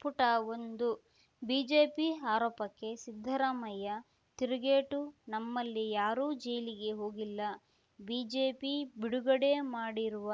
ಪುಟ ಒಂದು ಬಿಜೆಪಿ ಆರೋಪಕ್ಕೆ ಸಿದ್ದರಾಮಯ್ಯ ತಿರುಗೇಟು ನಮ್ಮಲ್ಲಿ ಯಾರೂ ಜೈಲಿಗೆ ಹೋಗಿಲ್ಲ ಬಿಜೆಪಿ ಬಿಡುಗಡೆ ಮಾಡಿರುವ